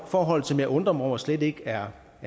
forhold som jeg undrer mig over slet ikke er